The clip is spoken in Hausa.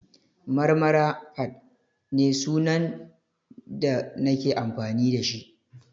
Marmara_fadd ne sunan da nake amfani da shi